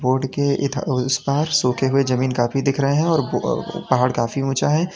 Road के इधर और उस पार सूखे हुए जमीन काफी दिख रहे है और ब अ पहाड़ काफी ऊंचा है।